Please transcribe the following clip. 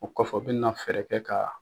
O kɔfɛ o bɛna fɛɛrɛ kɛ ka